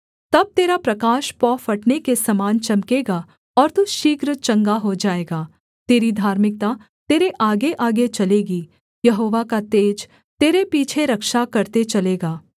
तब तेरा प्रकाश पौ फटने के समान चमकेगा और तू शीघ्र चंगा हो जाएगा तेरी धार्मिकता तेरे आगेआगे चलेगी यहोवा का तेज तेरे पीछे रक्षा करते चलेगा